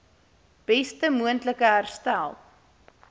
beste moontlike herstel